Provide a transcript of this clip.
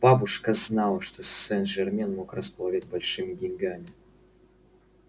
бабушка знала что сен-жермен мог располагать большими деньгами